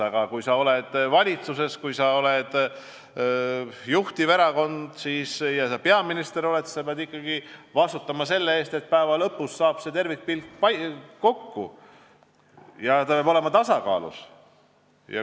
Aga kui sa oled valitsuses, kui sa oled juhtiva erakonna peaminister, siis sa pead ikkagi vastutama selle eest, et lõpuks saab tervikpilt kokku ja asi peab olema tasakaalus.